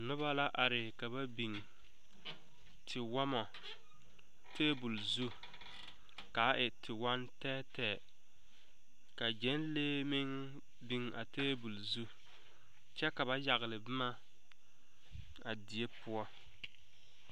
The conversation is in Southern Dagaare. Noba la are ka ba biŋ tewɔmɔ tabol zu kaa e tewɔŋ tɛɛtɛɛ ka gyɛŋlee meŋ biŋ a tabol zu kyɛ ka ba yagle boma a die poɔ.